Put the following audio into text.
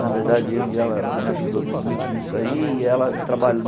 Na verdade, eu e ela ela me ajudou muito nisso aí. E ela